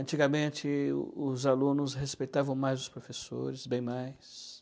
Antigamente, os alunos respeitavam mais os professores, bem mais.